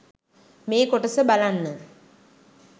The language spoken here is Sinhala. මේ කොටස බලන්න